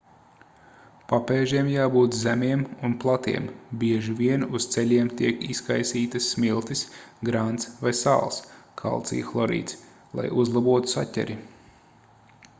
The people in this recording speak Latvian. papēžiem jābūt zemiem un platiem. bieži vien uz ceļiem tiek izkaisītas smiltis grants vai sāls kalcija hlorīds lai uzlabotu saķeri